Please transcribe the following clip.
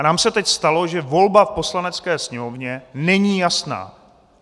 A nám se teď stalo, že volba v Poslanecké sněmovně není jasná.